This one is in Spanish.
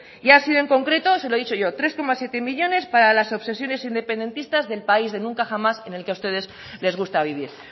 y ha sido en concreto se lo he dicho yo tres coma siete millónes para las obsesiones independentistas del país de nunca jamás en el que a ustedes les gusta vivir